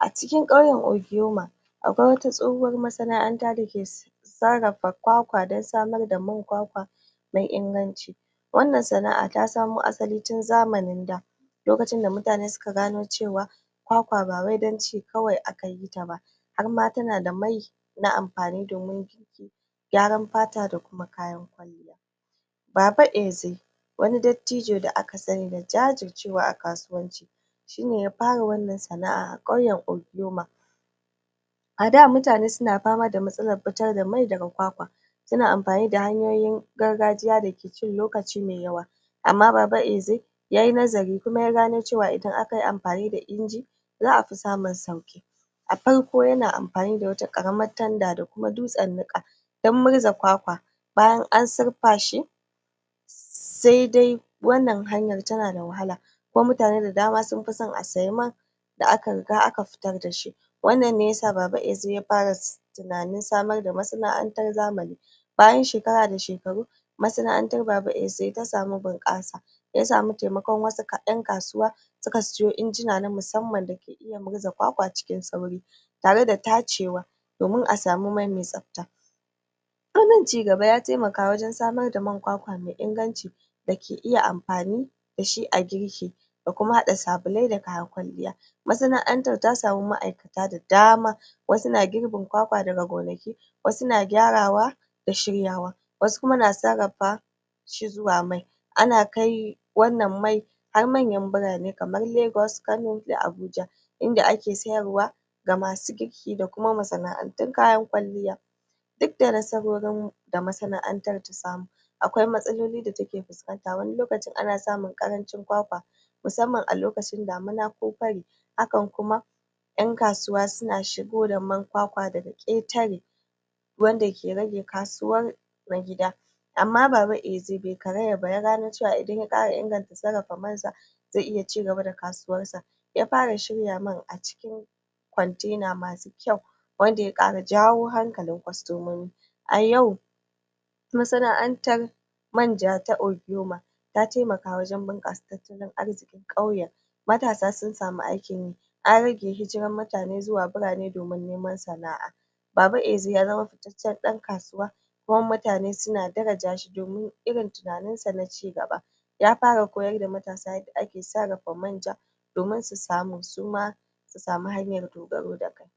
a cikin ƙauyen ogboma akwai wata tsohuwar masana'anta dake sarrafa sarrafa kwakwa don samar da man kwakwa mai inganci wannan sana'a ta samo asali tun zamanin da lokacin da mutane suka gano cewa kwakwa bawai don ci kawai akayita ba harma tana da mai na amfani domin gyaran fata da kuma. baba eze wani dattijo da aka sani da jajircewa a kasuwanci shine ya fara wannan sana'a a ƙauyen ogboma. A da mutane suna fama da matsalar fitar da mai daga kwakwa suna amfani da hanyoyin gargajiya da cin lokaci mai yawa amma baba eze yayi nazari kuma ya gano cewa idan akayi amfani da inji za'a fi samun sauƙi. A farko yana amfani da wata ƙaramar tanda da kuma dutsen niƙa don murza kwakwa bayan an surfa shi saidai wannan hanyar tanada wahala kuma mutane da dama sunfi son a sayi man da aka riga aka fitar dashi. wannan ne yasa baba eze ya fara tunanin samar da masana'antar zamani bayan shekara da shekaru masana'antar baba eze ta samu bunƙasa ta samu taimakon wasu kaɗan kasuwa suka siyo injina na musamman dake iya murza kwakwa cikin sauri. Tareda tacewa domin a samu mai mai tsafta. ci gaba ya taimaka wajen samar da man kwakwa mai inganci dake iya amfani da shi a girki. Da kuma haɗa sabulai da kayan kwalliya. masana'antar ta samu ma'aikata da dama wasu na girbin kwakwa daga gonaki wasu na gyarawa da shiryawa wasu kuma na sarrafa shi zuwa mai. Ana kai wannan mai har manyan birane kamar Lagos, Kano da Abuja. inda ake sayarwa ga masu girki da kuma masana'antun kayan kwalliya. Dukda nasarorin da masana'antar ta samu akwai matsaloli da take fuskanta wani lokacin ana samun ƙarancin kwakwa musamman a lokacin damana ko fari. hakan kuma ƴan kasuwa suna shigo da man kwakwa daga ƙetare wanda ke rage kasuwar na gida. Amma baba eze bai karaya ba ya gano cewa idan ya ƙara inganta sarrafa man sa zai iya ci gaba da kasuwar sa ya fara shirya man a cikin kontena masu kyau wanda ya ƙara jawo hankalin kwastomomi. A yau masana'antar manja ta ogboma ta taimaka wajen bunƙasa tattalin arzikin ƙauyen matasa sun samu aikin yi an rage hijirar mutane zuwa birane domin neman sana'a. Baba Eze ya zama dan kasuwa kuma mutane suna daraja shi domin irin tunanin sa na ci gaba. ya fara koyar da matasa yanda ake sarrafa manja domin su samu suma su samu hanyar dogaro da kai.